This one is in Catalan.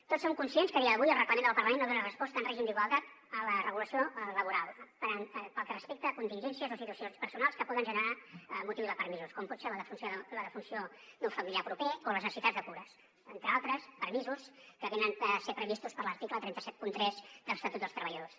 tots som conscients que a dia d’avui el reglament del parlament no dona resposta en règim d’igualtat a la regulació laboral pel que respecta a contingències o situacions personals que poden generar motiu de permisos com pot ser la defunció d’un familiar proper o les necessitats de cures entre altres permisos que preveu l’article tres cents i setanta tres de l’estatut dels treballadors